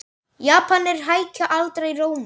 Japanir hækka aldrei róminn.